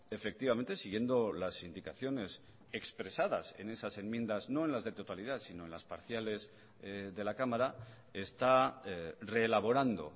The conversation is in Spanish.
efectivamente siguiendo las indicaciones expresadas en esas enmiendas no en las de totalidad sino en las parciales de la cámara está reelaborando